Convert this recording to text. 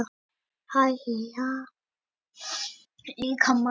Slíkt ensím á sér hins vegar ekki hliðstæðu í frumum líkamans.